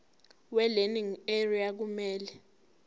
welearning area kumele